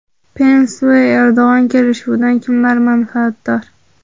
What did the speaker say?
Pens va Erdo‘g‘on kelishuvidan kimlar manfaatdor?.